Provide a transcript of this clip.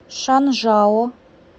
шанжао